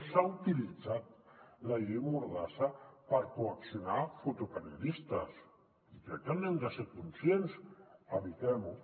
s’ha utilitzat la llei mor·dassa per coaccionar fotoperiodistes i crec que n’hem de ser conscients evitem·ho